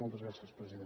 moltes gràcies president